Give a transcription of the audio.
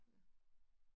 Ja